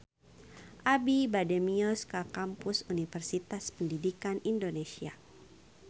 Abi bade mios ka Kampus Universitas Pendidikan Indonesia